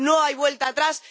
No hay vuelta atrás.